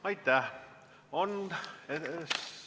Aitäh!